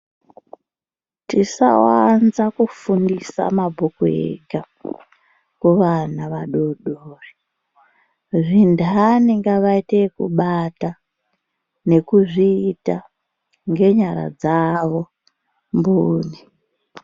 Tisawanza kufundisa mabhuku ega kuvana vadoodori zvintani ngavaite ekubata nekuzviita ngenyara dzavo mbune.